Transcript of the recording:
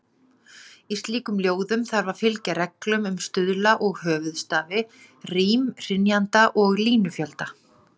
Í slíkum ljóðum þarf að fylgja reglum um stuðla og höfuðstafi, rím, hrynjandi og línufjölda.